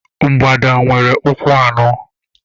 Mgbada nwere ụkwụ anọ.